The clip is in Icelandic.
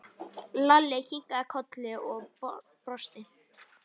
Lalli kinkaði kolli og brosti.